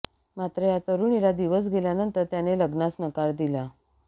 मात्र या तरुणीला दिवस गेल्यानंतर त्याने लग्नास नकार दिला